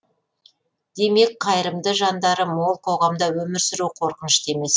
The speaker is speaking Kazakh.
демек қайырымды жандары мол қоғамда өмір сүру қорқынышты емес